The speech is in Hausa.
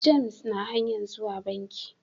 James na hanyan zuwa banki.